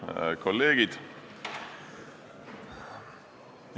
Head kolleegid!